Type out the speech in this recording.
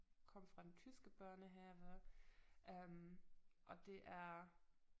Kom fra den tyske børnehave øh og det er